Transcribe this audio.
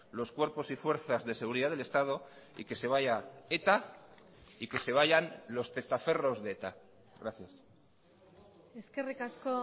los cuerpos y fuerzas de seguridad del estado y que se vaya eta y que se vayan los testaferros de eta gracias eskerrik asko